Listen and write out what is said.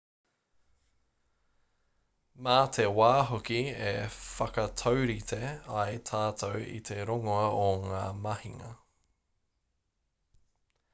mā te wā hoki e whakataurite ai tātou i te roanga o ngā mahinga